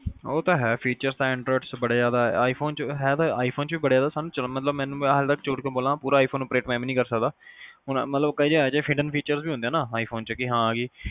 ਉਹ ਤਾਂ ਹੈ feature ਤਾ android ਬੜੇ ਜ਼ਿਆਦਾ ਆ ਹੈ ਤਾਂ i phone ਚ ਵੀ ਬੜੇ ਸਾਨੂੰ ਮਤਲਬ ਮੈਂ ਹੱਲੇ ਤੱਕ ਝੂਠ ਕਿਊ ਬੋਲਾ ਮੈਨੂੰ ਪੂਰਾ i phone operate ਮੈਂ ਵੀ ਨਹੀਂ ਕਰ ਸਕਦਾ ਹੁਣ ਮਤਲਬ ਕਈ ਏਹੋ ਜਿਹੇ film features ਹੁੰਦੇ ਆ ਨਾ i phone ਚ